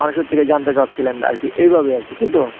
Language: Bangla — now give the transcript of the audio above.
মানুষের থেকে জানতে চাচ্ছিলেন আর কি, এইভাবে আর কি তাইতো?